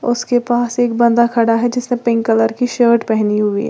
उसके पास एक बंदा खड़ा है जिसने पिंक कलर की शर्ट पेहनी हुई है।